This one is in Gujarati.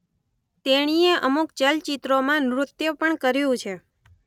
તેણીએ અમુક ચલચિત્રોમાં નૃત્ય પણ કર્યું છે.